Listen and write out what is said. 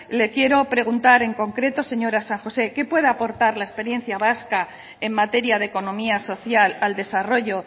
le quiero preguntar en concreto señora san josé qué puede aportar la experiencia vasca en materia de economía social al desarrollo